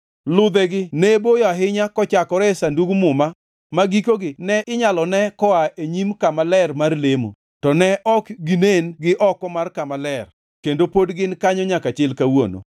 Ludhegi ne boyo ahinya kochakore e Sandug Muma ma gikogi ne inyalo ne koa e nyim kama ler mar lemo, to ne ok ginen gi oko mar Kama Ler kendo pod gin kanyo nyaka chil kawuono.